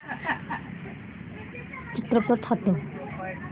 चित्रपट हटव